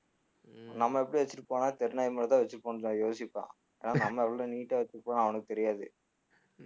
உம் நம்ம எப்படி வச்சுட்டுபோனா தெரு நாய் மாதிரிதான் வச்சிருப்போம்ன்னுதான் யோசிப்பான் ஆஹ் நம்ம எவ்வளோ neat ஆ வச்சிருப்போனு அவனுக்கு தெரியாது